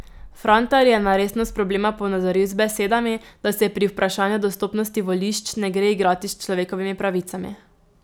Frantar je na resnost problema ponazoril z besedami, da se pri vprašanju dostopnosti volišč ne gre igrati s človekovimi pravicami.